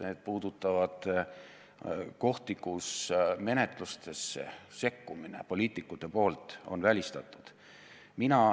Need puudutavad kohti, kus see, et poliitikud sekkuvad menetlusse, on välistatud.